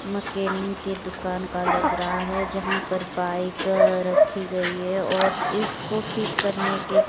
mechanic की दुकान का लग रहा है जहां पर बाइक रखी गई है और इसको ठीक करने के--